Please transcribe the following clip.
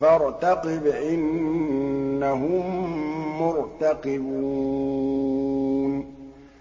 فَارْتَقِبْ إِنَّهُم مُّرْتَقِبُونَ